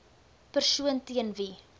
persoon teen wie